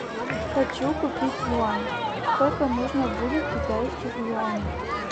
хочу купить юань сколько нужно будет китайских юаней